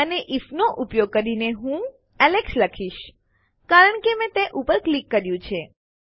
અને આઇએફ નો ઉપયોગ કરીને હું એલેક્સ લખીશ કારણ કે મેં તે ઉપર ક્લિક કર્યું છે